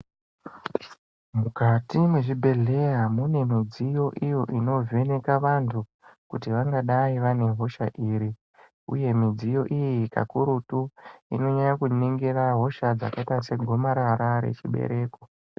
Mukati mwezvibhehleya mune mudziyo iyo inovheneka vantu kuti vangadai vane hosha iri uye midziyo iyi pakurutu unonyanya kuningira hosha dzakaiya segomarara rechibereko.